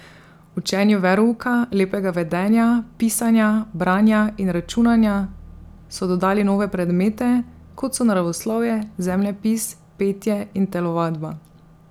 Učenju verouka, lepega vedenja, pisanja, branja in računanja so dodali nove predmete, kot so naravoslovje, zemljepis, petje in telovadba.